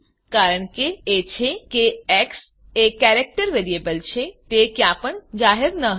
કારણ એ છે કે એક્સ એ કેરેક્ટર વેરીએબલ છે તે ક્યાં પણ જાહેર ન હતી